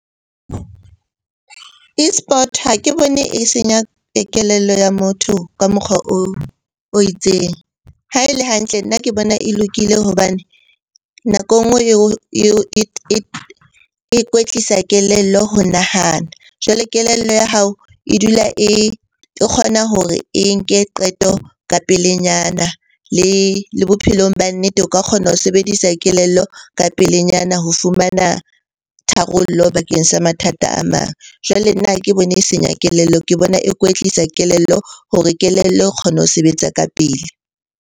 Esport ha ke bone e senya kelello ya motho ka mokgwa o itseng. Ha e le hantle nna ke bona e lokile hobane nako e nngwe e kwetlisa kelello ho nahana. Jwale kelello ya hao e dula e kgona hore e nke qeto ka pelenyana le bophelong ba nnete o ka kgona ho sebedisa kelello ka pelenyana ho fumana tharollo bakeng sa mathata a mang. Jwale nna ha ke bone e senya kelello, ke bona e kwetlisa kelello hore kelello e kgone ho sebetsa ka pele.